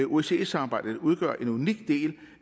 osce samarbejdet udgør en unik del